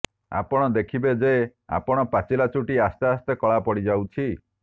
ଆପଣ ଦେଖିବେ ଯେ ଆପଣଙ୍କ ପାଚିଲା ଚୁଟି ଆସ୍ତେଆସ୍ତେ କଳା ପଡିଯାଉଛି